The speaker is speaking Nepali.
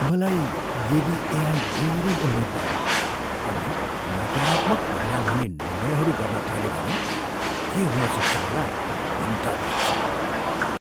मलाई यदि एआई धेरै उन्नत भयो अनि नकारात्मक परिणाम हुने निर्णयहरू गर्न थाल्यो भने के हुन सक्छ होला भनी डर लाग्छ।